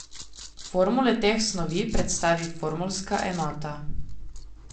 Formule teh snovi predstavi formulska enota.